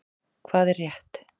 Hvað er rétt?